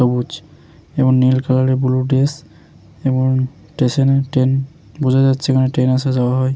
সবুজ এবং নীল কালার -এর বুলু ড্রেস এবং স্টেশন -এ ট্রেন বোঝা যাচ্ছে এখানে ট্রেন আসা যাওয়া হয় ।